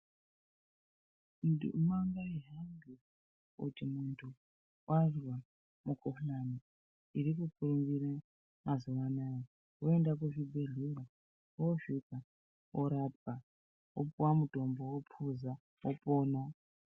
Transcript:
Nduma ngaihambe kuti muntu wazwa mikhuhlani iri mukurumbira mazuwa anaya ,waenda kuzvibhedhlera wosvika orapwa opuwa mitombo ophuza wopona.